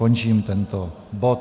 Končím tento bod.